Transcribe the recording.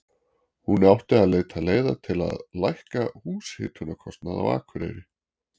Hún átti að leita leiða til að lækka húshitunarkostnað á Akureyri.